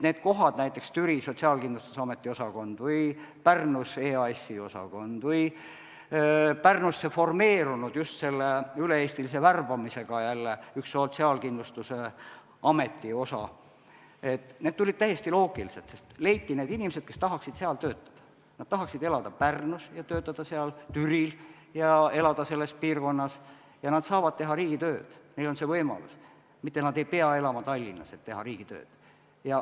Need kohad, näiteks Türil Sotsiaalkindlustusameti osakond või Pärnus EAS-i osakond või Pärnus formeerunud just selle üle-eestilise värbamisega üks Sotsiaalkindlustusameti osa, tulid täiesti loogiliselt, sest leiti need inimesed, kes tahaksid seal töötada, kes tahaksid elada Pärnus ja töötada seal, tahaksid elada Türil, selles piirkonnas, ja nad saavad teha riigitööd, nendel on see võimalus, nad ei pea elama Tallinnas, et teha riigitööd.